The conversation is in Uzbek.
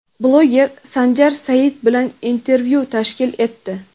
bloger Sanjar Said bilan intervyu tashkil etdi.